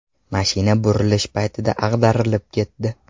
Mashina burilish paytida ag‘darilib ketdi.